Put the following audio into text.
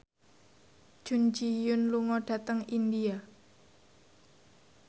Jun Ji Hyun lunga dhateng India